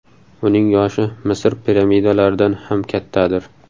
Uning yoshi Misr piramidalaridan ham kattadir.